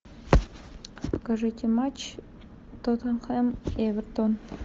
покажите матч тоттенхэм эвертон